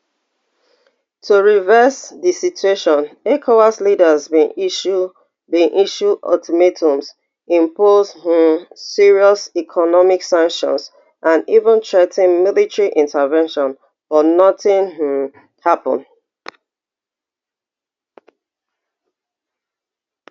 to reverse di situation ecowas leaders bin issue bin issue ultimatums impose um serious economic sanctions and even threa ten military intervention but nothing um happun